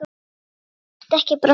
Þú mátt ekki brotna.